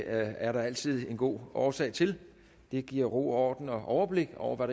er der altid en god årsag til det giver ro og orden og overblik over hvad